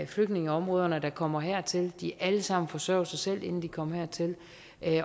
flygtningeområderne der kommer hertil de har alle sammen forsørget sig selv inden de kom hertil